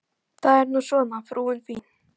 Það er nú svona, frúin fín!